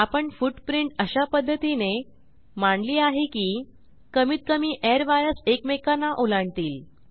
आपण फूटप्रिंट अशापध्दतीने मंडळी मांडली आहे की कमीत कमी airwiresएकमेकांना ओलांडतील